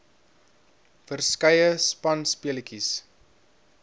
verskeie spanspe letjies